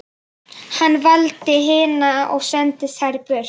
Hann valdi hina og sendi þær burt.